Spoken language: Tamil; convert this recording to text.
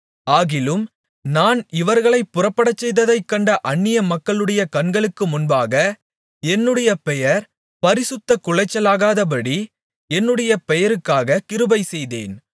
ஆகிலும் நான் இவர்களைப் புறப்படச்செய்ததைக் கண்ட அந்நியமக்களுடைய கண்களுக்கு முன்பாக என்னுடைய பெயர் பரிசுத்தக்குலைச்சலாகாதபடி என்னுடைய பெயருக்காக கிருபைசெய்தேன்